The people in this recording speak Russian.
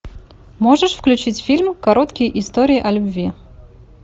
можешь включить фильм короткие истории о любви